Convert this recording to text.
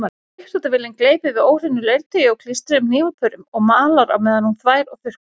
Uppþvottavélin gleypir við óhreinu leirtaui og klístruðum hnífapörum og malar meðan hún þvær og þurrkar.